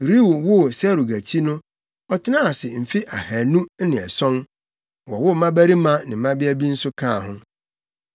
Reu woo Serug akyi no ɔtenaa ase mfe ahannu ne ason, wowoo mmabarima ne mmabea bi nso kaa ho.